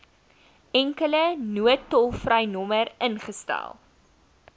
enkele noodtolvrynommer ingestel